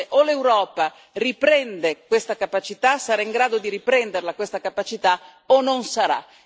Ecco, vede, o l'Europa riprende questa capacità, sarà in grado di riprendere questa capacità, o non sarà.